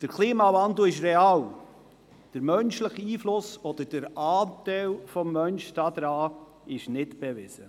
Der Klimawandel ist real, der menschliche Einfluss oder der Anteil des Menschen daran ist hingegen nicht bewiesen.